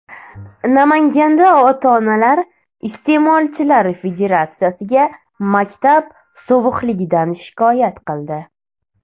Namanganda ota-onalar Iste’molchilar federatsiyasiga maktab sovuqligidan shikoyat qildi.